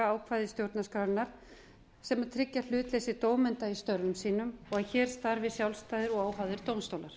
ákvæði stjórnarskrárinnar sem tryggja hlutleysi dómenda í störfum sínum og hér starfi sjálfstæðir og óháðir dómstólar